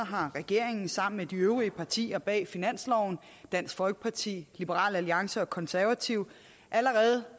har regeringen sammen med de øvrige partier bag finansloven dansk folkeparti liberal alliance og konservative allerede